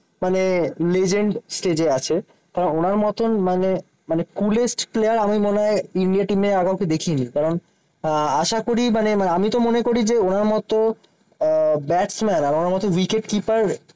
মানে legend stage এ আছে। ওনার মতন মানে মানে coolest player আমি মনে হয় ইন্ডিয়া টিমের আগে কাউকে দেখিনি। কারণ আহ আশা করি মানে আমি তো মনে করি যে ওনার মত আহ ব্যাটসম্যান আর ওনার মত উইকেট কিপার